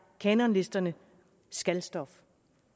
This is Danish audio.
kanonlisterne skal stof